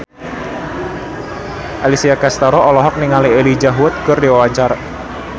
Alessia Cestaro olohok ningali Elijah Wood keur diwawancara